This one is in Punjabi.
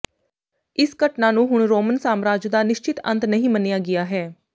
ਇਸ ਘਟਨਾ ਨੂੰ ਹੁਣ ਰੋਮਨ ਸਾਮਰਾਜ ਦਾ ਨਿਸ਼ਚਿਤ ਅੰਤ ਨਹੀਂ ਮੰਨਿਆ ਗਿਆ ਹੈ